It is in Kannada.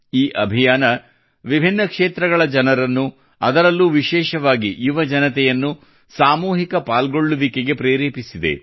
ಈ ಅಭಿಯಾನವು ವಿಭಿನ್ನ ಕ್ಷೇತ್ರಗಳ ಜನರನ್ನು ಅದರಲ್ಲೂ ವಿಶೇಷವಾಗಿ ಯುವಜನತೆನ್ನು ಸಾಮೂಹಿಕ ಪಾಲ್ಗೊಳ್ಳುವಿಕೆಗೆ ಪ್ರೇರೇಪಿಸಿದೆ